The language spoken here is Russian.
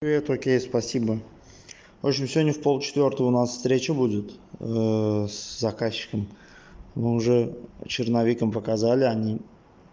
привет окей спасибо в общем сегодня в пол четвёртого у нас встреча будет с заказчиком мы уже черновик им показали они